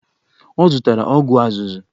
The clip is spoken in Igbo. Ọ zụtara ọgwụ azụzụ.